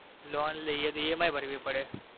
loan લયે તો EMI ભરવી પડે.